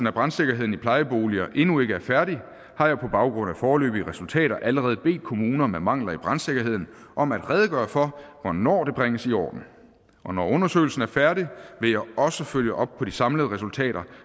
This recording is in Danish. af brandsikkerheden i plejeboliger endnu ikke er færdig har jeg på baggrund af foreløbige resultater allerede bedt kommuner med mangler i brandsikkerheden om at redegøre for hvornår det bringes i orden når undersøgelsen er færdig vil jeg også følge op på de samlede resultater